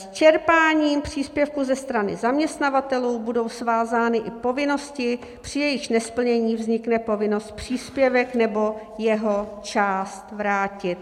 S čerpáním příspěvku ze strany zaměstnavatelů budou svázány i povinnosti, při jejichž nesplnění vznikne povinnost příspěvek nebo jeho část vrátit.